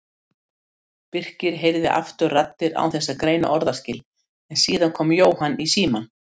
Birkir heyrði aftur raddir án þess að greina orðaskil en síðan kom Jóhann í símann.